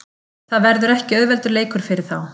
Það verður ekki auðveldur leikur fyrir þá.